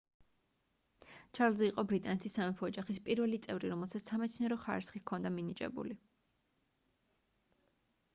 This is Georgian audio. ჩარლზი იყო ბრიტანეთის სამეფო ოჯახის პირველი წევრი რომელსაც სამეცნიერო ხარისხი ჰქონდა მინიჭებული